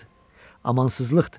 Amansızlıqdır.